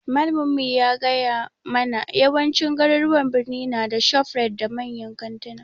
Malamin mu ya gaya mabna yawancin garuruwan birni na da shofrite da manyan kanttuna